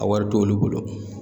A wari t'olu bolo